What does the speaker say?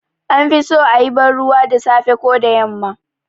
An fi so a yi banruwa da safe ko da yamma